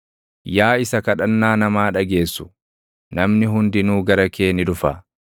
Yaa isa kadhannaa namaa dhageessu, namni hundinuu gara kee ni dhufa.